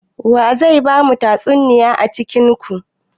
Waye zai bamu tatsuniya a cikin ku?